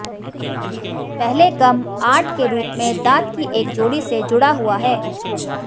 पहले गम आठ के रूप में दांत की एक जोड़ी से जुड़ा हुआ है